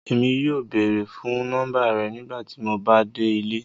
Èmi yóò bẹ̀ẹ̀rẹ̀ fun nọ́mbà rẹ̀ nígbàtí mó bá dẹ̀ ilẹ̀.